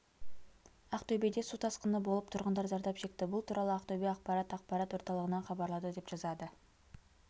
ақтөбеде су тасқыны болып тұрғындар зардап шекті бұл туралы ақтөбе ақпарат ақпарат орталығынан хабарлады деп жазады